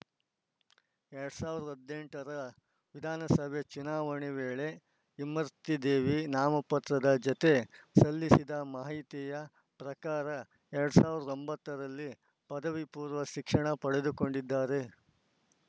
ಎರಡ್ ಸಾವಿರದ ಹದಿನೆಂಟರ ವಿಧಾನಸಭೆ ಚುನಾವಣೆ ವೇಳೆ ಇಮರ್ತಿ ದೇವಿ ನಾಮಪತ್ರದ ಜತೆ ಸಲ್ಲಿಸಿದ ಮಾಹಿತಿಯ ಪ್ರಕಾರ ಎರಡ್ ಸಾವಿರದ ಒಂಬತ್ತರಲ್ಲಿ ಪದವಿಪೂರ್ವ ಶಿಕ್ಷಣ ಪಡೆದುಕೊಂಡಿದ್ದಾರೆ